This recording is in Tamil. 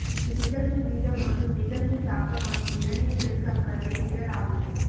நிகழ்வு வீதம் மற்றும் நிகழ்வின் தாக்கம் ஆகிய இரண்டின் பெருக்கற்பலனே இடர் ஆகும்